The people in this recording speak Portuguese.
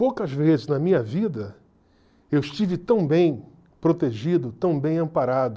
Poucas vezes na minha vida eu estive tão bem protegido, tão bem amparado,